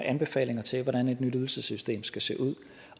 anbefalinger til hvordan et nyt ydelsessystem skal se ud